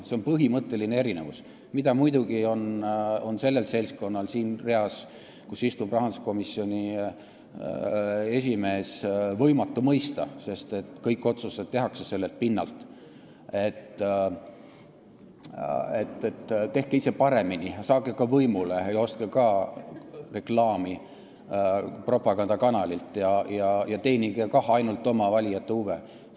See on põhimõtteline erinevus, mida muidugi on sellel seltskonnal siin reas, kus istub rahanduskomisjoni esimees, võimatu mõista, sest kõik otsused tehakse seal sellelt pinnalt, et tehke ise paremini, saage ka võimule ja ostke ka reklaami propagandakanalilt ja teenige kah ainult oma valijate huve.